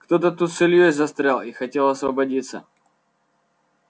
кто-то тут с ильёй застрял и хотел освободиться